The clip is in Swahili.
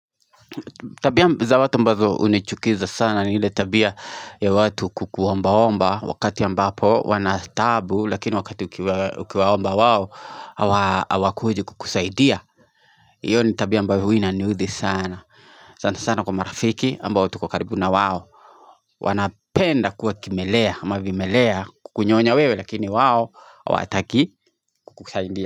Tabia za watu mbazo hunichukiza sana niile tabia ya watu kuku omba omba wakati ambapo wanataabu lakini wakati ukiwa omba wao hawakuji kukusaidia Iyo ni tabia mbayo huwa inanudhi sana.sana sana kwa marafiki ambao tuko kukaribu na wawo wanapenda kuwa kimelea mavimelea kukunyonya wewe lakini wawo hawataki kukusaidia.